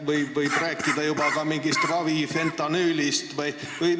Kas võib rääkida juba ka mingist ravifentanüülist?